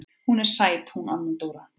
Hún er sæt hún Anna Dóra.